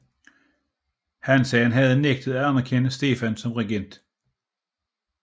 Hansaen havde nægtet at anerkende Stefan som regent